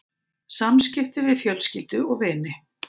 SAMSKIPTI VIÐ FJÖLSKYLDU OG VINI